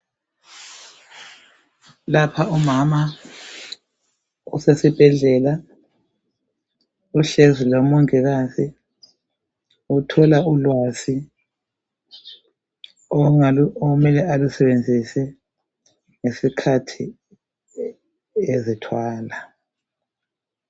Lapha umama usesibhedlela uhlezi lomongiakzi uthola ulwazi okumele alusebenzise ngesikhathi ezithwala.